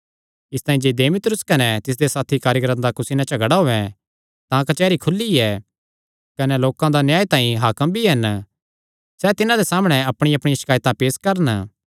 इसतांई जे देमेत्रियुस कने तिसदे साथी कारीगरां दा कुसी नैं झगड़ा होयैं तां कचेहरी खुली ऐ कने लोकां दा न्याय तांई हाकम भी हन सैह़ तिन्हां दे सामणै अपणियांअपणियां शकायतां पेस करन